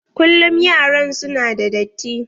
Kullum yaran su na da datti.